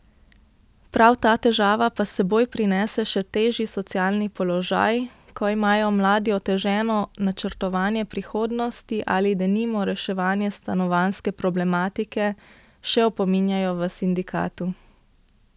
Prav ta težava pa s seboj prinese še težji socialni položaj, ko imajo mladi oteženo načrtovanje prihodnosti ali, denimo, reševanje stanovanjske problematike, še opominjajo v sindikatu.